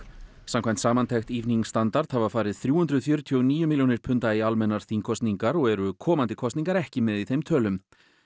samkvæmt samantekt standard hafa farið þrjú hundruð fjörutíu og níu milljónir punda í almennar þingkosningar og eru komandi kosningar ekki með í þeim tölum